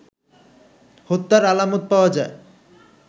হত্যার আলামত পাওয়া যায়